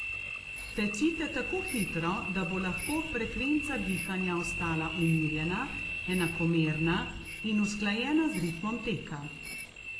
Tecite tako hitro, da bo lahko frekvenca dihanja ostala umirjena, enakomerna in usklajena z ritmom teka.